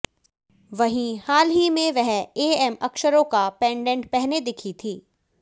वहीं हाल ही में वह एएम अक्षरों का पेंडेंट पहने दिखी थीं